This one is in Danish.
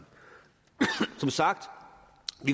som sagt